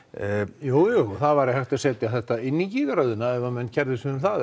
jújú það væri hægt að setja þetta inn í gígaraðirnar ef menn kærðu sig um það